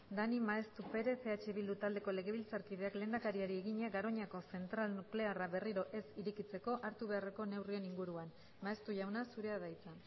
daniel maeztu perez eh bildu taldeko legebiltzarkideak lehendakariari egina garoñako zentral nuklearra berriro ez irekitzeko hartu beharreko neurrien inguruan maeztu jauna zurea da hitza